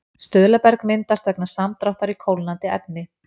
Stuðlaberg myndast vegna samdráttar í kólnandi efni.